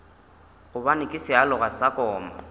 gobane ke sealoga sa koma